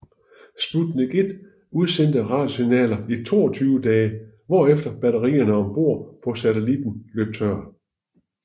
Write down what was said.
Sputnik 1 udsendte radiosignaler i 22 dage hvorefter batterierne om bord på satellitten løb tør